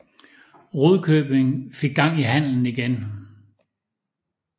Rudkøbing fik gang i handelen igen